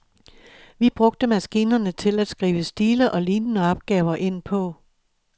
Vi brugte maskinerne til at skrive stile og lignende opgaver ind på.